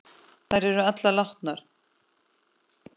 Þær eru allar látnar.